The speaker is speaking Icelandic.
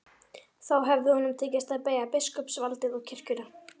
Þá hefði honum tekist að beygja biskupsvaldið og kirkjuna.